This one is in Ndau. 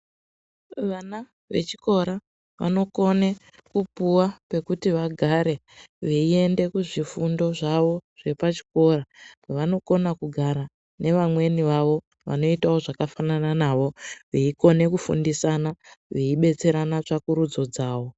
Vana vechikora vanokone kupuwa pekuti vagare veiende kuzvifundo zvavo zvepachikora, vanokona kugara nevamweni vavo, vanoitawo zvakafanana navo veikone kufundisana, veidetserana tsvakurudzo dzavo.